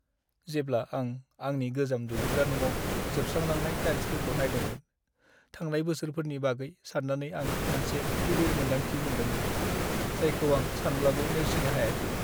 जेब्ला आं आंनि गोजाम दुगैग्रा न'आव जोबस्रालांनाय टाइल्सफोरखौ नायदोंमोन, थांनाय बोसोरफोरनि बागै सान्नानै आं मोनसे गिलिर मोनदांथि मोनदोंमोन, जायखौ आं सानब्लाबो नेवसिनो हायाखैमोन।